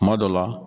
Kuma dɔ la